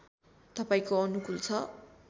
तपाईँको अनुकूल छ